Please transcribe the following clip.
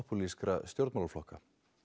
popúlískra stjórnmálaflokka